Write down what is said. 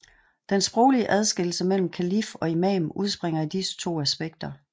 Den sproglige adskillelse mellem kalif og imam udspringer af disse to aspekter